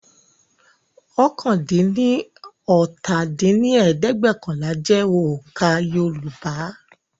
oókànlá-dín-ní-ọ́ta dín ní ẹ̀ẹ́dẹ́gbẹ́ọ̀kànlá jẹ́ oǹkà Yoruba